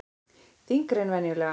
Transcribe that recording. Þyngri en venjulega.